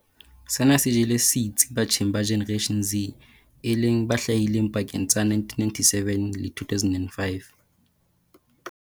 Sena se jele setsi batjheng ba Generation Z e leng ba hlahileng pakeng tsa 1997 le 2005.